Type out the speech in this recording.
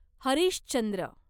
Harish Chandra